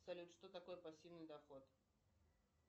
салют что такое пассивный доход